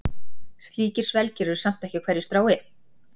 Slíkir svelgir eru samt ekki á hverju strái.